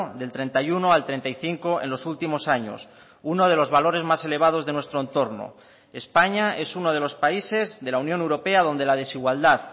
del treinta y uno al treinta y cinco en los últimos años uno de los valores más elevados de nuestro entorno españa es uno de los países de la unión europea donde la desigualdad